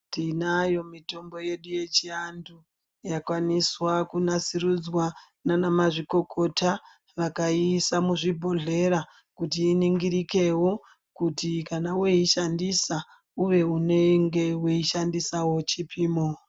Tinayo mitombo yedu yechianthu yakwaniswa kunasurudzwa nana mazvikokota vakaiisa muzvibhodhlera kuti iningirikewo kuti kana woishandisa unge uchishandisawo chipimo.